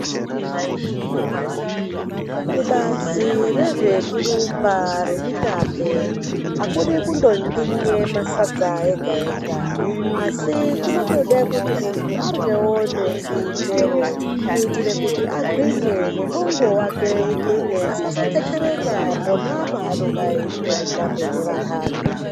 Kubazi rezvekurumba remitambe akudi kundontinye masadza ega ega. Asi kunotodawo kuti muntu aryewo nemichero kuitire kuti muntu agwinye nemwongo wake ugwinye asazotetereka pona paanenge eita mitambe nevanthani.